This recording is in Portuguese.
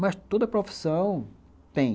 Mas toda profissão tem.